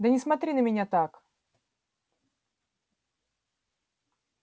да не смотри на меня так